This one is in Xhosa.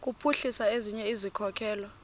kuphuhlisa ezinye izikhokelo